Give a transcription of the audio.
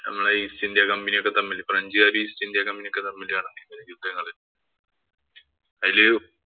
നമ്മുടെ East India company ഒക്കെ തമ്മില് ഫ്രഞ്ചുകാരും, East India company യും തമ്മില്‍ നടന്ന യുദ്ധങ്ങള് അതില്